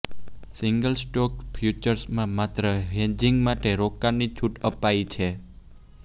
single stock ફ્યુચર્સમાં માત્ર hedging માટે રોકાણની છૂટ અપાઈ છે